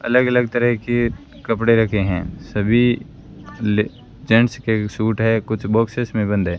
अलग अलग तरह की कपड़े रखे हैं सभी जेंट्स के सूट है कुछ बॉक्सेस में बंद है।